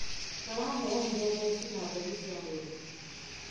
maraheanire theci na mbegũ cia mbebe